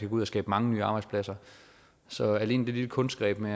ud og skabe mange nye arbejdspladser så alene det lille kunstgreb med